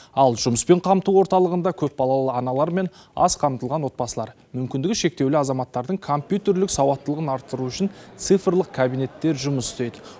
ал жұмыспен қамту орталығында көпбалалы аналар мен аз қамтылған отбасылар мүмкіндігі шектеулі азаматтардың компьютерлік сауаттылығын арттыру үшін цифрлық кабинеттер жұмыс істейді